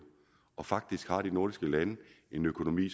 faktisk har de nordiske lande en økonomi